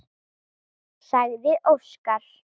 sagði Óskar.